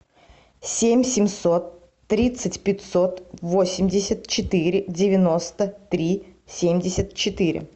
семь семьсот тридцать пятьсот восемьдесят четыре девяносто три семьдесят четыре